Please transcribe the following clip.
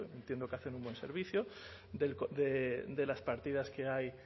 entiendo que hacen un buen servicio de las partidas que hay